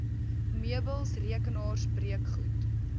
meubels rekenaars breekgoed